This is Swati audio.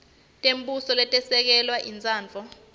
tembuso letesekele intsandvo